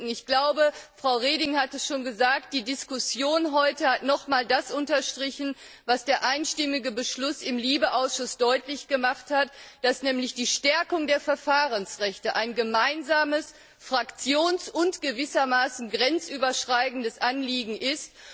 Ich glaube, Frau Reding hat es schon gesagt, die Diskussion heute hat nochmal das unterstrichen, was der einstimmige Beschluss im LIBE Ausschuss deutlich gemacht hat, dass nämlich die Stärkung der Verfahrensrechte ein gemeinsames fraktions und gewissermaßen grenzüberschreitendes Anliegen ist.